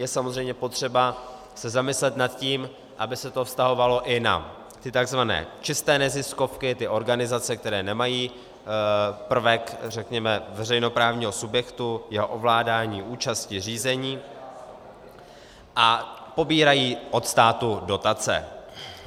Je samozřejmě potřeba se zamyslet nad tím, aby se to vztahovalo i na ty tzv. čisté neziskovky, ty organizace, které nemají prvek řekněme veřejnoprávního subjektu, jeho ovládání účasti řízení, a pobírají od státu dotace.